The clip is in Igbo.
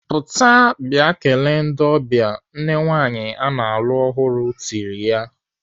"Pụta bịa kelee ndị ọbịa!" Nne nwaanyị ana alụ ọhụrụ tirile ya.